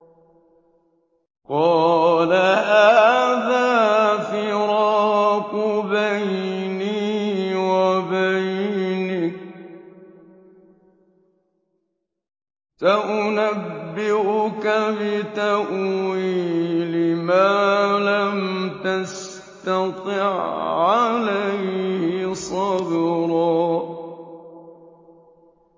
قَالَ هَٰذَا فِرَاقُ بَيْنِي وَبَيْنِكَ ۚ سَأُنَبِّئُكَ بِتَأْوِيلِ مَا لَمْ تَسْتَطِع عَّلَيْهِ صَبْرًا